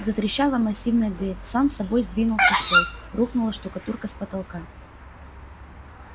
затрещала массивная дверь сам собой сдвинулся стол рухнула штукатурка с потолка